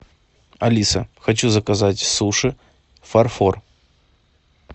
алиса хочу заказать суши фарфор